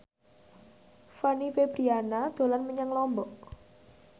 Fanny Fabriana dolan menyang Lombok